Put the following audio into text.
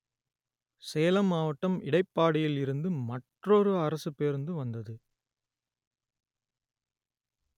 சேலம் மாவட்டம் இடைப்பாடியில் இருந்து மற்றொரு அரசுப் பேருந்து வந்தது